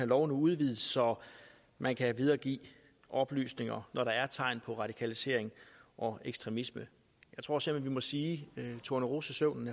lov nu udvides så man kan videregive oplysninger når der er tegn på radikalisering og ekstremisme jeg tror simpelt må sige at tornerosesøvnen